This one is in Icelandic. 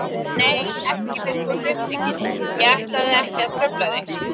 Nei, ekki fyrst þú ert upptekinn, ég ætlaði ekki að trufla þig.